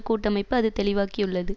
கூட்டமைப்பு அது தெளிவாக்கியுள்ளது